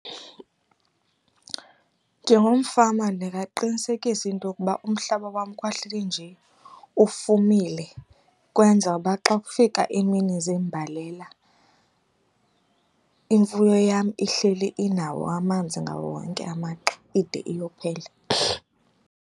Njengomfama ndingaqinisekisa into yokuba umhlaba wam kwahleli nje ufumile kwenza uba xa kufika iimini zeembalela imfuyo yam ihleli inawo amanzi ngawo wonke amaxa ide iyophela.